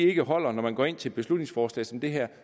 ikke holder når man går ind til et beslutningsforslag som det her